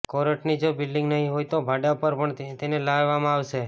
કોર્ટની જો બિલ્ડિંગ નહી હોય તો ભાડા પર પણ તેને લેવામાં આવશે